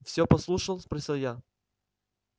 всё послушал спросил я